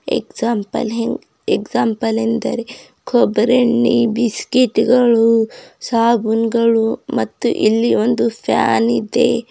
ಎಕ್ಸಾಮ್ಪ್ಲೆಲ್ ಎಂ ಎಕ್ಸಾಮ್ಪ್ಲೆಲ್ ಎಂದರೆ ಕೊಬ್ಬರಿ ಎಣ್ಣೆ ಬಿಸ್ಕಟ್ ಗಳು ಸಾಬೂನ್ಗಳು ಮತ್ತು ಇಲ್ಲಿ ಒಂದು ಫ್ಯಾನ್ ಇದೆ.